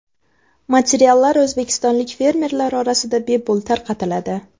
Materiallar o‘zbekistonlik fermerlar orasida bepul tarqatiladi.